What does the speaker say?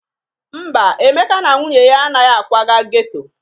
Mba, Emeka na nwunye ya anaghị akwaga geto.